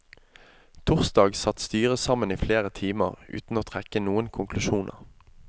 Torsdag satt styret sammen i flere timer uten å trekke noen konklusjoner.